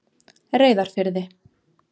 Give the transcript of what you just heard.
Reyðarfirði